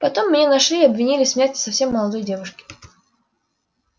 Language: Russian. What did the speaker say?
потом меня нашли и обвинили в смерти совсем молодой девушки